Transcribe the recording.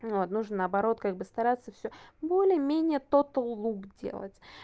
вот нужно наоборот как бы стараться всё более менее тотал лук делать